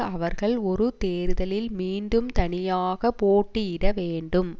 அவர்கள் ஒரு தேர்தலில் மீண்டும் தனியாக போட்டியிடவேண்டும்